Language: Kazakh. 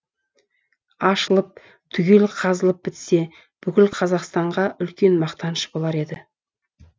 ашылып түгел қазылып бітсе бүкіл қазақстанға үлкен мақтаныш болар еді